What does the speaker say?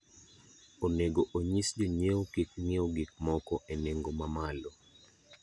Onego onyis jonyiewo kik ong'iew gik moko e nengo mamalo.